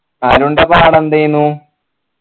അരുൺൻ്റെ പാടെന്തെന്നു